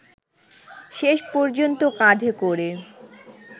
শেষ পর্যন্ত কাঁধে করে